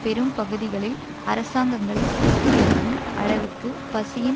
பெரும் பகுதிகளில் அரசாங்கங்களை தூக்கியெறியும் அளவுக்கு பசியின்